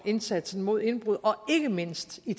indsatsen mod indbrud og ikke mindst i